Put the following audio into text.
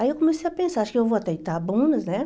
Aí eu comecei a pensar, acho que eu vou até Itabunas, né?